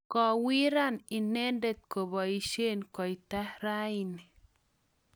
kowiran inendet koboisien koita raini